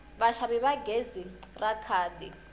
vaxavi va gezi ra khadi